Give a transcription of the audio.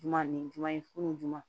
Ɲuman ni jumɛn ye funu